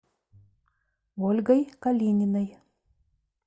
ольгой калининой